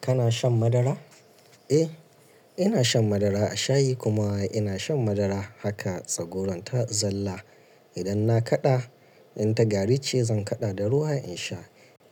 Kana shan madara? Eh, ina shan madara a shayi kuma ina shan madara haka tsagwaron ta zalla. Idan na kaɗa, idan ta gari ce zan kaɗa da ruwa in sha.